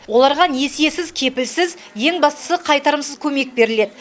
оларға несиесіз кепілсіз ең бастысы қайтарымсыз көмек беріледі